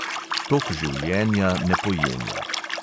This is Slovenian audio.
Tok življenja ne pojenja.